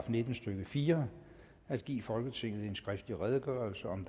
nitten stykke fire at give folketinget en skriftlig redegørelse om